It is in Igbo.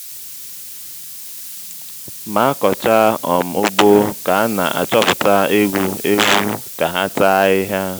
ma akọchaa um ugbo ka ana achọpụta eghu/ewu ka ha táa ahịhịa